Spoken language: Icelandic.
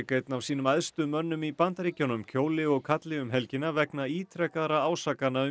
einn af sínum æðstu mönnum í Bandaríkjunum kjóli og kalli um helgina vegna ítrekaðra ásakana um